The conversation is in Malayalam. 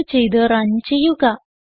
സേവ് ചെയ്ത് റൺ ചെയ്യുക